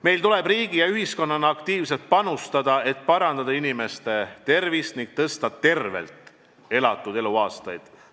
Meil tuleb riigi ja ühiskonnana aktiivselt panustada, et parandada inimeste tervist ning rohkendada tervelt elatud eluaastaid.